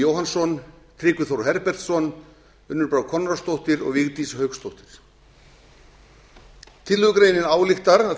jóhannsson tryggvi þór herbertsson unnur brá konráðsdóttir og vigdís hauksdóttir tillögugreinin ályktar að